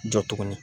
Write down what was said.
Jɔ tuguni